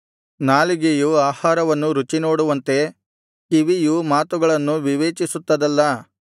ನಾಲಿಗೆಯು ಆಹಾರವನ್ನು ರುಚಿನೋಡುವಂತೆ ಕಿವಿಯು ಮಾತುಗಳನ್ನು ವಿವೇಚಿಸುತ್ತದಲ್ಲಾ